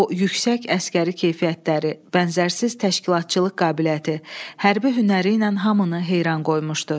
O yüksək əsgəri keyfiyyətləri, bənzərsiz təşkilatçılıq qabiliyyəti, hərbi hünəri ilə hamını heyran qoymuşdu.